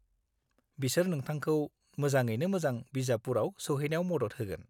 बिसोर नोंथांखौ मोजाङैनो मोजां बिजापुरआव सौहैनायाव मदद होगोन।